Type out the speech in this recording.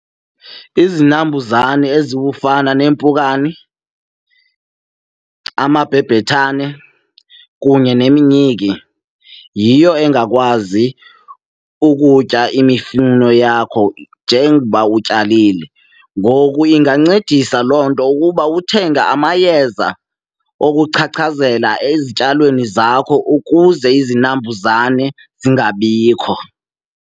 Izinambuzane ezibufana neempukani, amabhebhethane kunye neminyiki, yiyo engakwazi ukutya imifuno yakho njengoba utyalile. Ngoku ingancedisa loo nto ukuba uthenge amayeza okuchachazela ezityalweni zakho ukuze izinambuzane zingabikho.